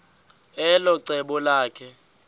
elo cebo lakhe